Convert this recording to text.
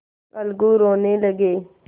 अलगू रोने लगे